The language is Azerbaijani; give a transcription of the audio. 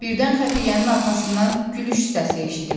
Birdən xəfiyyənin arxasından gülüş səsi eşidildi.